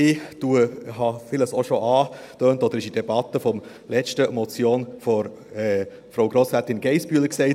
Ich habe vieles auch schon angetönt, oder es wurde in der Debatte zur letzten Motion von Grossrätin Geissbühler gesagt.